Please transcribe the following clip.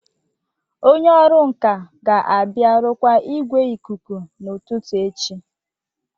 Onye ọrụ nka ga-abịa rụkwaa igwe ikuku n'ụtụtụ echi